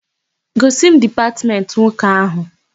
Gosi m dipatmentị nwoke áhụ̀!